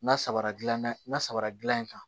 N'a samara dilanna n'a sabara gilan in kan